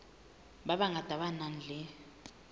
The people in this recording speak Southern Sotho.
ba bangata ba nang le